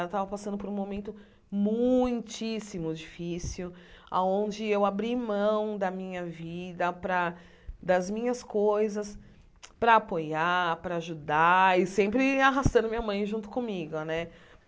Ela tava passando por um momento muitíssimo difícil, aonde eu abri mão da minha vida para, das minhas coisas, para apoiar, para ajudar e sempre arrastando minha mãe junto comigo, né?